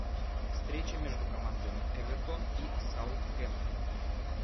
встреча между командами эвертон и саутгемптон